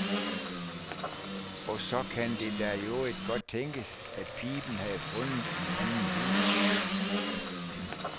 Og så kan det da i øvrigt godt tænkes, at piben havde fundet en anden lyd.